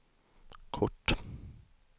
kort